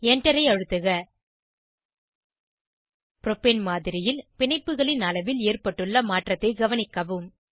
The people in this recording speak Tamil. Enter ஐ அழுத்துக ப்ரோப்பேன் மாதிரியில் பிணைப்புகளின் அளவில் ஏற்பட்டுள்ள மாற்றத்தை கவனிக்கவும்